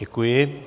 Děkuji.